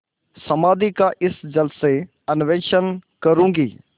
समाधि का इस जल से अन्वेषण करूँगी